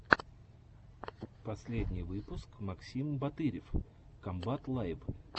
последний выпуск максим батырев комбат лайв